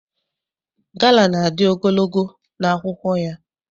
Gala na-adị ogologo n'akwụkwọ ya.